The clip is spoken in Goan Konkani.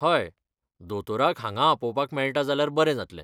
हय, दोतोराक हांगा आपोवपाक मेळटा जाल्यार बरें जातलें.